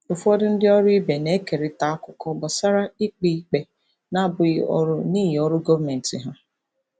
Ụfọdụ ndị ọrụ ibe na-ekerịta akụkọ gbasara ikpe ikpe na-abụghị ọrụ n'ihi ọrụ gọọmentị ha.